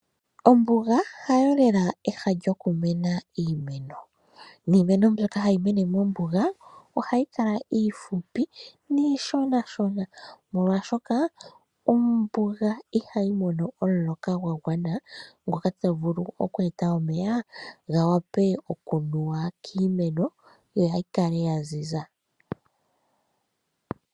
Ombuga hayo lela ehala lyokumena iimeno. Iimeno mbyoka hayi mene mombuga ohayi kala iifupi niishonashona molwaashoka ombuga ihayi mono omuloka gwagwana ngoka tagu vulu okweeta omeya gawape okunuwa kiimeno yoyikale yaziza.